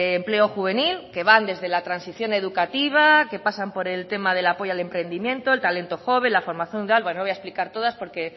empleo juvenil que va desde la transición educativa que pasan por el tema del apoyo al emprendimiento el talento joven la formación no voy a explicar todas porque